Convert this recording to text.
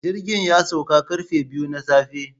Jirgin ya sauka karfe biyu na safe